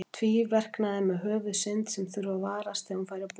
Tvíverknaði með Höfuðsynd sem þurfti að varast þegar hún færi að búa.